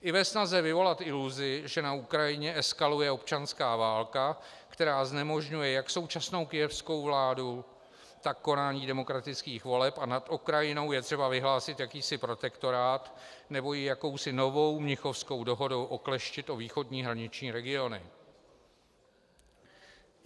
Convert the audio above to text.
I ve snaze vyvolat iluzi, že na Ukrajině eskaluje občanská válka, která znemožňuje jak současnou kyjevskou vládu, tak konání demokratických voleb, a nad Ukrajinou je třeba vyhlásit jakýsi protektorát nebo ji jakousi novou mnichovskou dohodou okleštit o východní hraniční regiony.